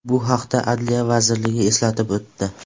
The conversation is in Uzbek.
Bu haqda Adliya vazirligi eslatib o‘tdi .